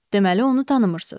Deməli onu tanımırsız?